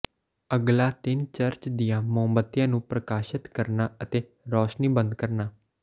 ਅਗਲਾ ਤਿੰਨ ਚਰਚ ਦੀਆਂ ਮੋਮਬੱਤੀਆਂ ਨੂੰ ਪ੍ਰਕਾਸ਼ਤ ਕਰਨਾ ਅਤੇ ਰੋਸ਼ਨੀ ਬੰਦ ਕਰਨਾ